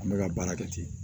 An bɛ ka baara kɛ ten